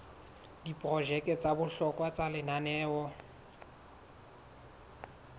diprojeke tsa bohlokwa tsa lenaneo